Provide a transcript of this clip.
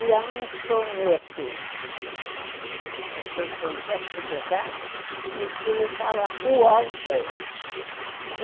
E há um soneto, estou dizendo certo, de Bocage, em que ele fala o Álvares.